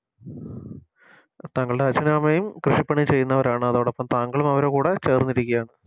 താങ്കളുടെ അച്ഛനും അമ്മയും കൃഷിപ്പണി ചെയ്യുന്നവരാണ് അതോടൊപ്പം താങ്കളും അവരെ കൂടെ ചേർന്നിരിക്കാണ്